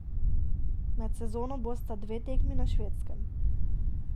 Med sezono bosta dve tekmi na Švedskem.